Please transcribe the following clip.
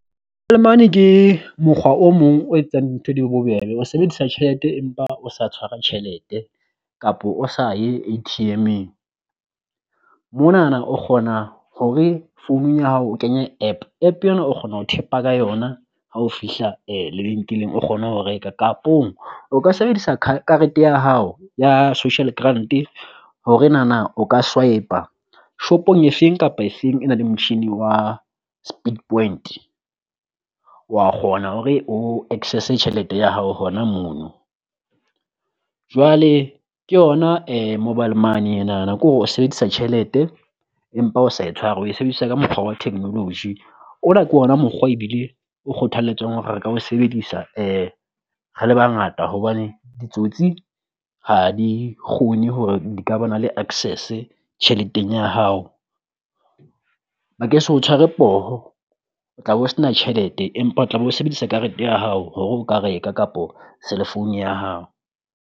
Money ke mokgwa o mong o etsang dintho di bobebe o sebedisa tjhelete, empa o sa tshwara tjhelete kapo o sa ye A_T_M-eng. Monana o kgona hore founung ya hao o kenya app app yenwa o kgona ho tap-a ka yona ha o fihla lebenkeleng o kgone ho reka, kapong o ka sebedisa karete ya hao ya Social grant hore nana o ka swipe-a shopong efeng kapa efeng e nang le motjhini wa speed point. Wa kgona hore o access-e tjhelete ya hao hona mono, jwale ke yona Mobile Money enana kore o sebedisa tjhelete empa o sa e tshwara o e sebedisa ka mokgwa wa technology. Ona ke ona mokgwa ebile o kgothaletswang hore re ka o sebedisa re le bangata hobane ditsotsi ha di kgone hore di ka bana le access tjheleteng ya hao. Ba ke se o tshware poho o tla bo sena tjhelete empa o tla bo sebedisa karete ya hao hore o ka reka kapo cell phone ya hao.